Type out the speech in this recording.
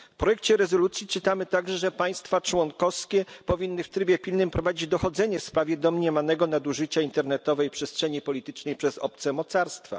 W projekcie rezolucji czytamy także, że państwa członkowskie powinny w trybie pilnym prowadzić dochodzenie w sprawie domniemanego nadużycia internetowej przestrzeni politycznej przez obce mocarstwa.